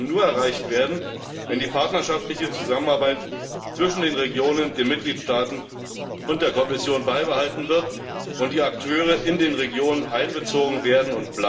Diese werden aber nur erreicht werden, wenn die partnerschaftliche Zusammenarbeit zwischen den Regionen, den Mitgliedstaaten und der Kommission beibehalten wird und die Akteure in den Regionen auch weiterhin einbezogen werden.